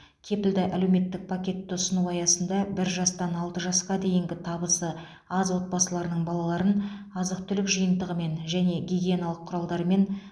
кепілді әлеуметтік пакетті ұсыну аясында бір жастан алты жасқа дейінгі табысы аз отбасыларының балаларын азық түлік жиынтығымен және гигиеналық құралдармен